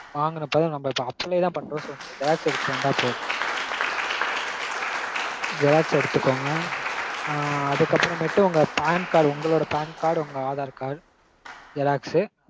வாங்கறப்போதா நம்ம இப்போ apply தா பண்றோம் so நீங்க xerox எடுத்துட்டு வந்தா போதும். xerox எடுத்துக்கோங்க. ஆஹ் அதுக்கப்பறமேட்டு உங்க PANcard உங்களோட PANcard உங்க aadhar card xerox